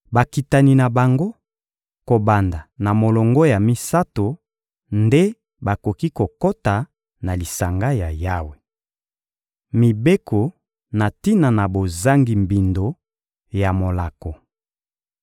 Bakitani na bango, kobanda na molongo ya misato, nde bakoki kokota na lisanga ya Yawe. Mibeko na tina na bozangi mbindo ya molako